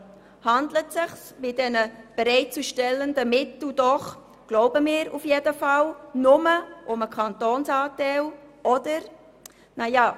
Dabei handelt es sich, wie wir glauben, doch nur um den Kantonsanteil, oder nicht?